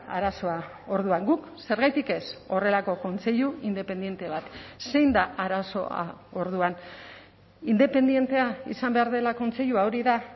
arazoa orduan guk zergatik ez horrelako kontseilu independente bat zein da arazoa orduan independentea izan behar dela kontseilua hori da